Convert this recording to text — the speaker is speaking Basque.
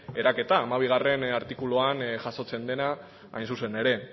eraketa hamabigarrena artikuluan jasotzen dena hain zuzen ere